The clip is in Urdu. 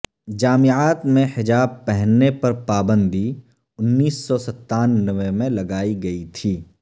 جامعات میں حجاب پہننے پر پابندی انیس سو ستانوے میں لگائی گئی تھی